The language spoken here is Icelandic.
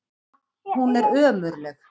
Hún er ömurleg.